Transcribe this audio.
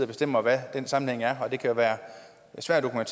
bestemmer hvad den sammenhæng er det kan være svært at